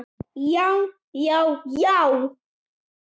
já já já!